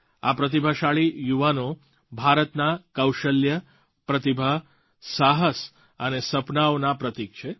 આ પ્રતિભાશાળી યુવાનો ભારતના કૌશલ્ય પ્રતિભા સાહસ અને સપનાંઓના પ્રતીક છે